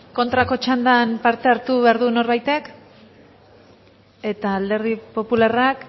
kontrako txandan parte hartu behar du norbaitek eta alderdi popularrak